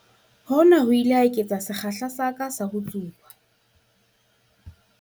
Hona ho ile ha eketsa sekgahla sa ka sa ho tsuba.